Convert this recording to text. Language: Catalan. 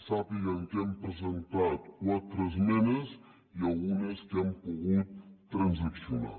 sàpiguen que hem presentat quatre esmenes i algunes que hem pogut transaccionar